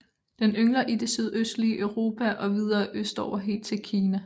Den yngler i det sydøstlige Europa og videre østover helt til Kina